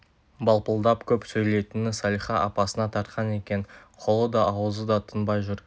балпылдап көп сөйлейтіні салиха апасына тартқан екен қолы да аузы да тынбай жүр